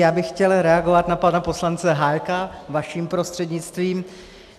Já bych chtěl reagovat na pana poslance Hájka vaším prostřednictvím.